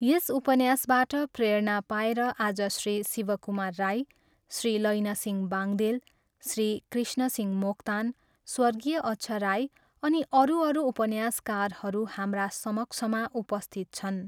यस उपन्यासबाट प्रेरणा पाएर आज श्री शिवकुमार राई, श्री लैनसिंह बांग्देल, श्री कृष्णसिंह मोक्तान, स्वर्गीय अच्छा राई अनि अरू अरू उपन्यासकारहरू हाम्रा समक्षमा उपस्थित छन्।